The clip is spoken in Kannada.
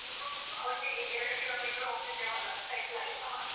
ಒಟ್ಟಿಗೆ ಎರಡು ಕಿಲೋಮೀಟರ್ ಹೋಗ್ತಿದ್ದೇವಲ್ಲ cycle ಅಲ್ಲಿ.